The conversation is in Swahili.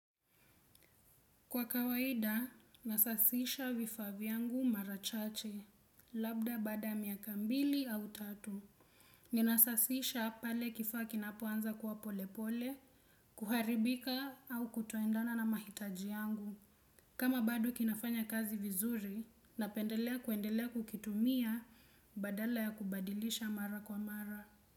Kwa kawaida, nasasisha vifaa vyangu mara chache, labda baada ya miaka mbili au tatu. Ninasasisha pale kifaa kinapoanza kuwa polepole, kuharibika au kutoendana na mahitaji yangu. Kama bado kinafanya kazi vizuri, napendelea kuendelea kukitumia badala ya kubadilisha mara kwa mara.